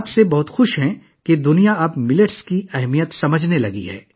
وہ بہت خوش ہیں کہ دنیا اب باجرے کی اہمیت کو سمجھنے لگی ہے